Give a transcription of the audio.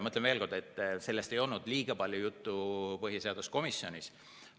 Ütlen veel kord, et sellest ei olnud põhiseaduskomisjonis liiga palju juttu.